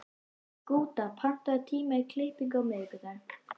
Skúta, pantaðu tíma í klippingu á miðvikudaginn.